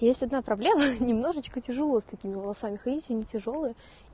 есть одна проблема немножечко тяжело с такими волосами ходить они тяжёлые